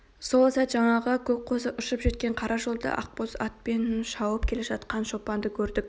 сол сәт жаңағы көк қозы ұшып жеткен қара жолда ақбоз атпен шауып келе жатқан шопанды көрдік